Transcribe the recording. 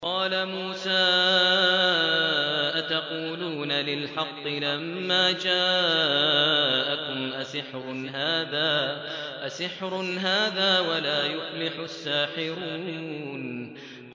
قَالَ مُوسَىٰ أَتَقُولُونَ لِلْحَقِّ لَمَّا جَاءَكُمْ ۖ أَسِحْرٌ هَٰذَا وَلَا يُفْلِحُ السَّاحِرُونَ